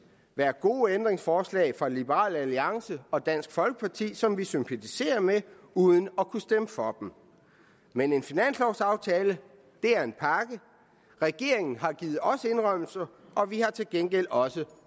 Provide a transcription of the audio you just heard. være gode ændringsforslag fra liberal alliance og dansk folkeparti som vi sympatiserer med uden at kunne stemme for men en finanslovsaftale er en pakke regeringen har givet os indrømmelser og vi har til gengæld også